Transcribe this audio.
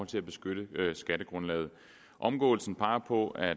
til at beskytte skattegrundlaget omgåelsen peger på at